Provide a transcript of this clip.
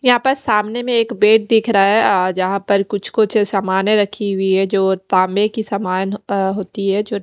यहाँ पर सामने में एक बेड दिख रहा है जहाँ पर कुछ-कुछ सामने रखे हुई हैं जो तांबे की समान होती हैं जो --